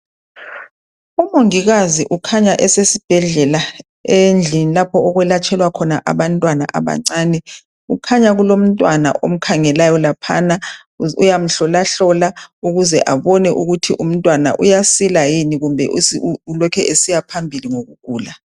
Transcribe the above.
Umongikazi ukhanya esesibhedlela endlini okwelatshelwa khona abantwana abancane. Kukhanya kulomntwana omkhangelayo laphana uyamhlolahlola ukuze abone ukuthi umntwana uyasila yini kumbe ulokhe esiya phambili ngokugula